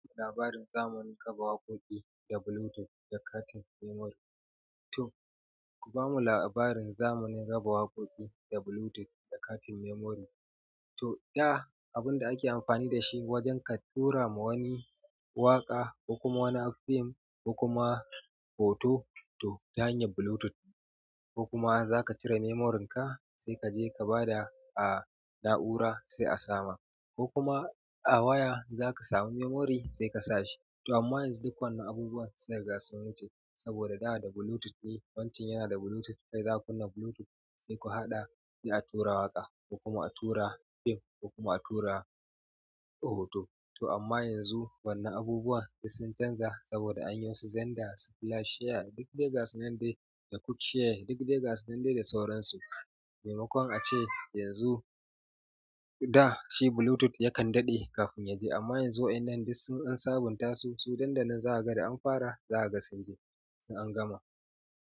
Ku ba mu labarin zamanin raba waƙoƙi da Bluetooth da katin memory. To, ku ba mu labarin zamanin raba waƙoƙi da Bluetooth da katin memory. To, da abin da ake amfani da shi wajen ka tura ma wani waƙa ko kuma wani fim ko kuma hoto, to ta hanyar Bluetooth. Ko kuma za ka cire memoryn ka sai ka je ka ba da a na'ura sai a sama. Ko kuma a waya za ka samu memory sai ka sa shi. To amma yanzu duk wannan abubuwan sun riga sun wuce saboda da da Bluetooth ne. Wancan yana da Bluetooth, kai zaka kunna Bluetooth sai ku haɗa, sai a tura waƙa ko kuma a tura fim ko kuma a tura hoto. To amma yanzu wannan abubuwan duk sun canza saboda an yi su Xender, su flash share, duk dai gasa nan dai da quick share, duk dai gasu nan dai da sauransu. Maimakon a ce yanzu, da shi Bluetooth ya kan daɗe kafin ya je amma yanzu waɗannan duk sun an saɓunta su. Su nan da nan zaka ga da an fara, za a ga sun je sun an gama.